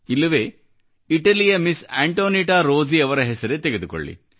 ಇಲ್ಲವೆ ಇಟಲಿಯ Miss Antonietta Rossi ಅವರ ಹೆಸರೇ ತೆಗೆದುಕೊಳ್ಳಿ